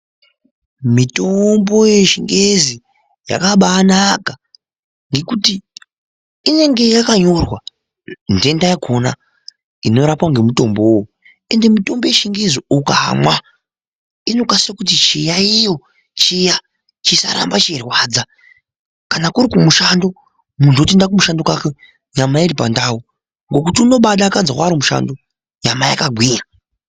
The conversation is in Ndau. Mitombo yechingezi yakabanaka ngekuti inenge yakanyorwa ntenda yakona inorapwa ngemutombowo uwowo ende mitombo yechingezi ukamwa inokasike kuti chiyaiyo chiya chisarambe dzeirwadza kana kuri kumushando muntu wotoenda kumushando kwake nyama iri pandau ngekuti uno mbadakadzwa ari kumushando nyama yakagwinya.